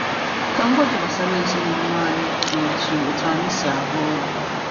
Ka m gwa gị gbasara ezinụlọ anyị na otu otu anyị si arụ ọrụ.